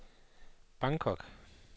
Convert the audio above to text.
Bangkok